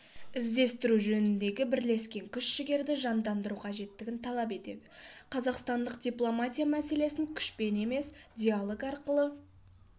іздестіру жөніндегі бірлескен күш-жігерді жандандыру қажеттігін талап етеді қазақстандық дипломатия мәселені күшпен емес диалог арқылы